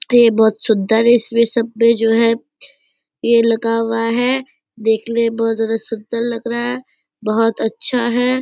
ये बहुत सुंदर है इसमें सब में जो है ये लगा हुआ है देखने में बहुत ज्यादा सुंदर लग रहा है बहुत अच्छा है।